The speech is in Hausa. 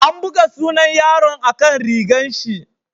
An buga sunan yaron a'kan rigan shi.